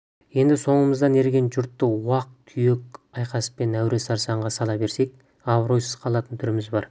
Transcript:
енді соңымыздан ерген жұртты уақ-түйек айқаспен әуре-сарсаңға сала берсек абыройсыз қалатын түріміз бар